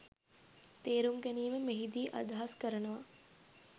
තේරුම් ගැනීම මෙහිදී අදහස් කරනවා.